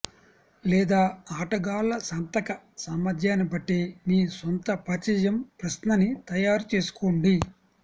లేదా ఆటగాళ్ల సంతక సామర్థ్యాన్ని బట్టి మీ సొంత పరిచయం ప్రశ్నని తయారు చేసుకోండి